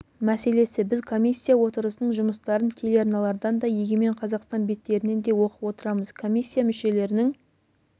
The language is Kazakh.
мәселесі біз комиссия отырысының жұмыстарын телеарналардан да егемен қазақстан беттерінен де оқып отырамыз комиссия мүшелерінің